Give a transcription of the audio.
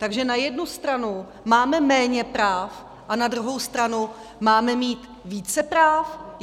Takže na jednu stranu máme méně práv a na druhou stranu máme mít více práv?